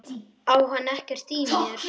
Á hann ekkert í mér?